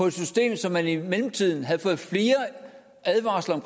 et system som man i mellemtiden havde fået flere advarsler